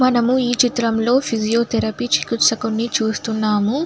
మనము ఈ చిత్రం లో ఫీజియోథెరపీ చికిత్స కొన్ని చూస్తున్నాము.